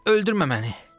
Öldürmə məni!